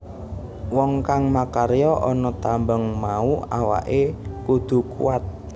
Wong kang makarya ana tambang mau awake kudu kuwat